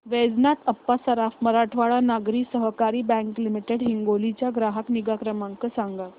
वैजनाथ अप्पा सराफ मराठवाडा नागरी सहकारी bank limited Hingoli चा ग्राहक निगा क्रमांक सांगा